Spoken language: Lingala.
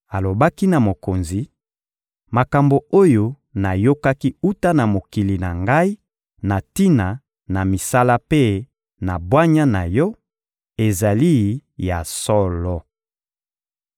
Alobaki na mokonzi: «Makambo oyo nayokaki wuta na mokili na ngai na tina na misala mpe na bwanya na yo ezali ya solo!